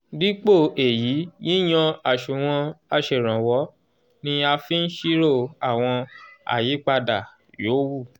dípò èyí yíyan àṣùwọ̀n aṣèrànwọ́ ni a fi ń ṣírò àwọn àyípadà yòówù